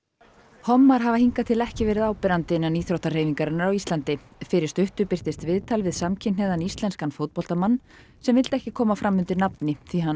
hommar hafa hingað til ekki verið áberandi innan íþróttahreyfingarinnar á Íslandi fyrir stuttu birtist viðtal við samkynhneigðan íslenskan fótboltamann sem vildi ekki koma fram undir nafni því hann